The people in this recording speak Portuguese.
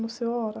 Não sei a hora.